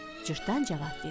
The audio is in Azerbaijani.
Cırtdan cavab verdi: